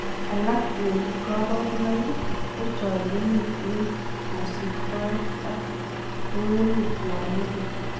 Alak en koborunoik kochorirenet en kosiptoet ak kewelut yon lugui.